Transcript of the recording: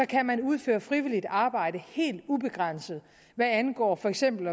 kan man udføre frivilligt arbejde helt ubegrænset hvad angår for eksempel